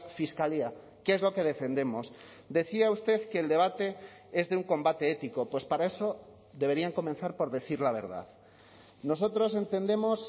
fiscalía que es lo que defendemos decía usted que el debate es de un combate ético pues para eso deberían comenzar por decir la verdad nosotros entendemos